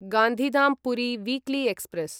Gandhidham Puri weekly express